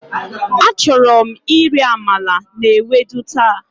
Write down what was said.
Achorom iri amala na ewedu ta.